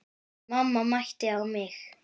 Mamma mændi á mig.